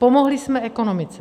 Pomohli jsme ekonomice.